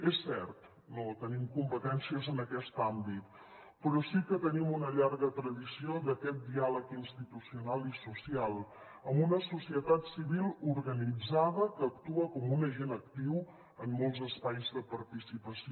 és cert no tenim competències en aquest àmbit però sí que tenim una llarga tradició d’aquest diàleg institucional i social amb una societat civil organitzada que actua com un agent actiu en molts espais de participació